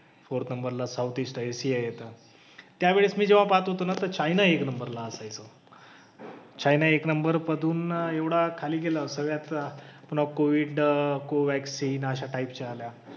Fourth नंबरला south east आशिया आहे. त्यावेळेस मी जेव्हा पाहात होतो ना तर चायना एक नंबरला असायचं. चायना एक नंबर मधून एवढा खाली गेला सगळ्याच्या. पुन्हा कोविड, कोवॅक्सीन अशा अशा टाईपच्या आल्या.